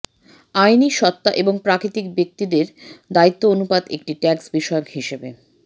আইনি সত্ত্বা এবং প্রাকৃতিক ব্যক্তিদের দায়িত্ব অনুপাত একটি ট্যাক্স বিষয় হিসেবে